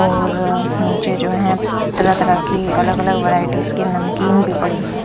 और नीचे जो है तरह तरह की अलग अलग वैरायटीस के नमकीन भी पड़ी है।